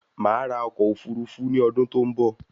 Máa ra ọkọ òfurufú ní ọdún tó n bọ